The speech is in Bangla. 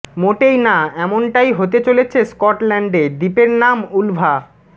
মোটেই না এমনটাই হতে চলেছে স্কটল্যান্ডে দ্বীপের নাম উলভা